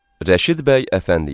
Rəşid bəy Əfəndiyev.